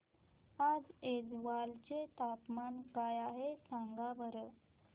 आज ऐझवाल चे तापमान काय आहे सांगा बरं